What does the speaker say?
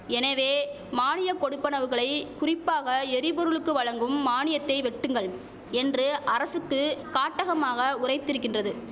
எனவே மானிய கொடுப்பனவுகளை குறிப்பாக எரிபொருளுக்கு வழங்கும் மானியத்தை வெட்டுங்கள் என்று அரசுக்கு காட்டகமாக உரைத்திருக்கின்றது